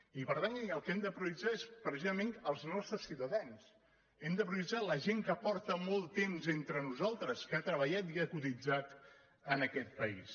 i per tant el que hem de prioritzar és precisament els nostres ciutadans hem de prioritzar la gent que porta molt temps entre nosaltres que ha treballat i ha cotitzat en aquest país